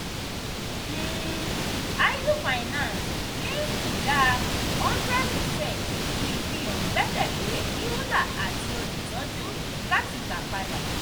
um idle finance ní ìdá 100 percent ìfihàn gbẹ́kẹ̀lè euler àti olùtọ́jú láti gbà padà.